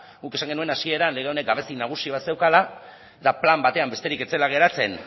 guk esan genuen hasieran lege honek gabezia nagusi bat zeukala eta plan batean besterik ez zela geratzen